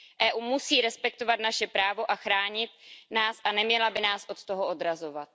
EU musí respektovat naše právo a chránit nás a neměla by nás od toho odrazovat.